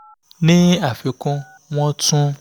ní àfikún wọ́n tún